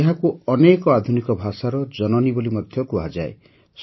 ଏହାକୁ ଅନେକ ଆଧୁନିକ ଭାଷାର ଜନନୀ ବୋଲି ମଧ୍ୟ କୁହାଯାଏ